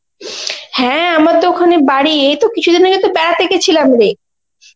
হ্যাঁ আমার তো ওখানে বাড়ি এইতো কিছুদিন আগে তো বেড়াতে গেছিলাম রে.